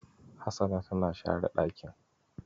Hasana tana share ɗakin.